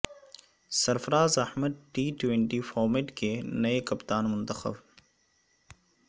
سرفراز Ahmed T twenty format کے نئے کپتان منتخب